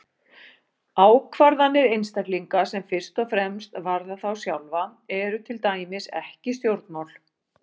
Ákvarðanir einstaklinga sem fyrst og fremst varða þá sjálfa eru til dæmis ekki stjórnmál.